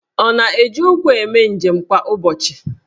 Ọ na-eji ụkwụ eme njem kwa ụbọchị?